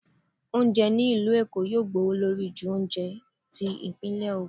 oúnjẹ ni ilú Èko yóò gbówólorí ju oúnjẹ tí ipinle ogun